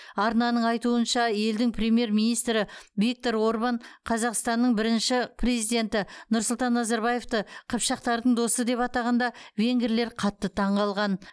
арнаның айтуынша елдің премьер министрі виктор орбан қазақстанның бірінші президенті нұрсұлтан назарбаевты қыпшақтардың досы деп атағанда венгрлер қатты таңқалған